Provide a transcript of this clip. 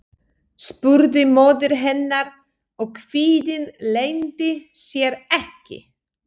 spurði móðir hennar og kvíðinn leyndi sér ekki.